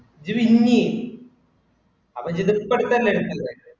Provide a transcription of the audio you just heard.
ഇജ്ജ് win ചെയ്യ. അവര് risk എടുത്തല്ലേ win ചെയ്തേക്കണേ.